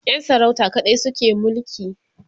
Yan sarauta kaɗai suke mulki